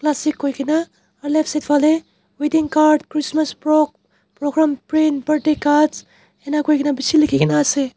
classic koi kina aro left side falae wedding card christmas program print birthday cards enaka kurikina bishi likikina asae.